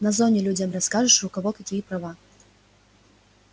на зоне людям расскажешь у кого какие права